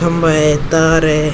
खंबा है तार है।